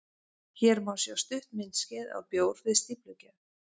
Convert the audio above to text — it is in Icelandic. Hér má sjá stutt myndskeið af bjór við stíflugerð.